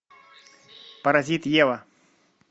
паразит ева